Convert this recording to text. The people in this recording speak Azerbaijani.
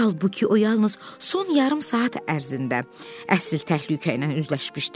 Halbuki o yalnız son yarım saat ərzində əsl təhlükə ilə üzləşmişdi.